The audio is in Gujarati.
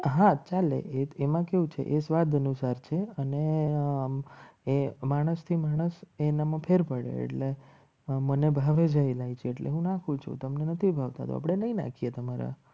હા ચાલે એમાં કેવું છે. એ સ્વાદ અનુસાર છે. અને એ માણસથી માણસ એનામાં ફેર પડે એટલે મને ભાવે છે. એટલે હું નાખું છું. તમને નથી ભાવતા તો આપણે નહીં નાખીએ. તમારા